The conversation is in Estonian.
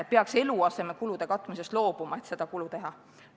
Tuleks eluasemekulude maksmisest loobuda, et seda kulu teha.